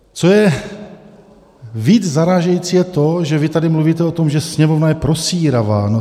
Co je víc zarážející, je to, že vy tady mluvíte o tom, že Sněmovna je prosíravá.